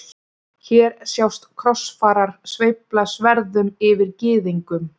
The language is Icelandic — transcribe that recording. Hér sjást krossfarar sveifla sverðum yfir gyðingum.